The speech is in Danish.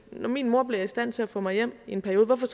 når min mor bliver i stand til at få mig hjem i en periode hvorfor